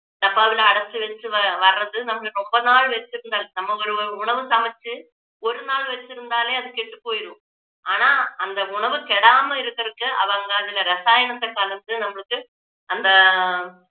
டப்பாவுல அடச்சு வச்சு வ~வர்றது நமக்கு ரொம்ப நாள் வச்சிருந்தது நம்ம ஒரு ஒரு ஒரு உணவு சமைச்சு ஒரு நாள் வெச்சிருந்தாலே அது கெட்டுப் போயிரும் ஆனா அந்த உணவு கெடாம இருக்குறதுக்கு அவங்க அதுல ரசாயனத்தை கலந்து நம்மளுக்கு அந்த